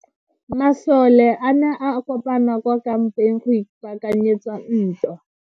Masole a ne a kopane kwa kampeng go ipaakanyetsa ntwa.